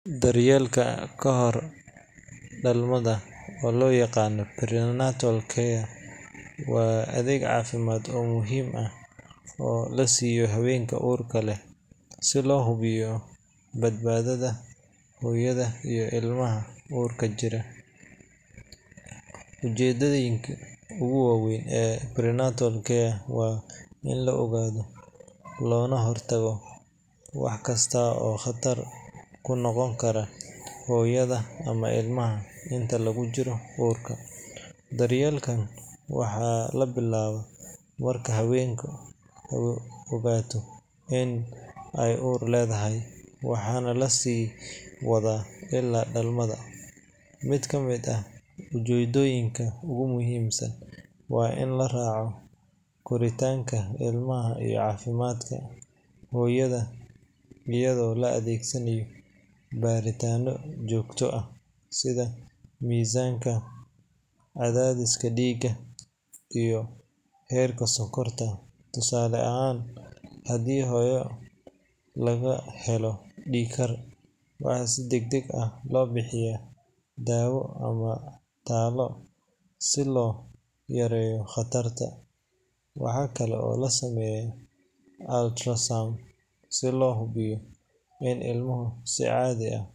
Daryeelka ka hor dhalmada, oo loo yaqaan prenatal care, waa adeeg caafimaad oo muhiim ah oo la siiyo haweenka uurka leh si loo hubiyo badbaadada hooyada iyo ilmaha uurka ku jira. Ujeedooyinka ugu waaweyn ee prenatal care waa in la ogaado loona hortago wax kasta oo khatar ku noqon kara hooyada ama ilmaha inta lagu jiro uurka. Daryeelkan waxaa la bilaabaa marka haweeneydu ogaato in ay uur leedahay, waxaana la sii wadaa illaa dhalmada. Mid ka mid ah ujeedooyinka ugu muhiimsan waa in la raaco koritaanka ilmaha iyo caafimaadka hooyada, iyadoo la adeegsanaayo baaritaanno joogto ah sida miisaanka, cadaadiska dhiigga, iyo heerka sonkorta. Tusaale ahaan, haddii hooyo laga helo dhiig-kar, waxaa si degdeg ah loo bixiyaa daawo ama talo si loo yareeyo khatarta. Waxaa kale oo la sameeyaa ultrasound si loo hubiyo in ilmaha si caadi ah.